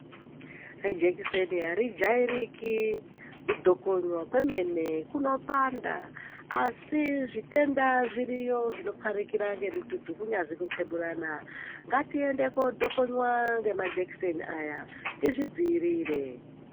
Jekiseni ari jairiki, kudhokonywa kwemene kuno panda, asi zvitenda zviriyo zvinopharikira ngemututu, kunyazwi kuqheburana, ngatiende koodhokonywa ngemajekiseni aya, tizvidziirire.